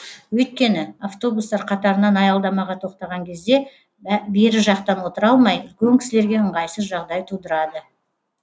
өйткені автобустар қатарынан аялдамаға тоқтаған кезде бері жақтан отыра алмай үлкен кісілерге ыңғайсыз жағдай тудырады